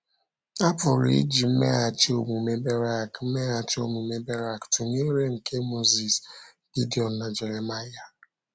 A pụrụ iji mmeghachi omume Berak mmeghachi omume Berak tụnyere nke Mozis, Gidiọn, na Jeremaịa.